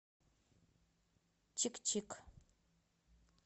чик чик